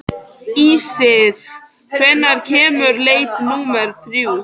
Ísis, hvenær kemur leið númer þrjú?